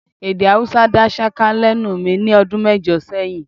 Èdè Haúsá dá ṣáká lẹ́nu mi ní ọdún mẹ́jọ sẹ́yìn